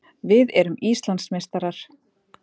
Við erum Íslandsmeistarar!